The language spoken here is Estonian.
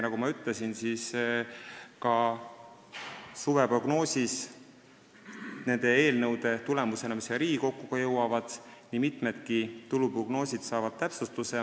Nagu ma ütlesin, ka suveprognoosis saavad nende eelnõude tulemusena, mis Riigikokku jõuavad, nii mitmedki tuluprognoosid täpsustatud.